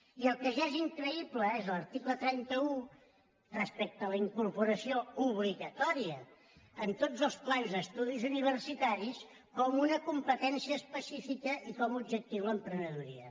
i el que ja és increïble és a l’article trenta un respecte a la incorporació obligatòria en tots els plans d’estudis universitaris com una competència específica i com a objectiu l’emprenedoria